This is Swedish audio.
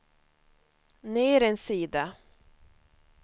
ner en sida